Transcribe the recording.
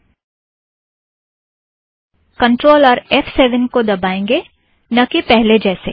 हम कंट्रोल और F seven को दबाएंगे न कि पहले जैसे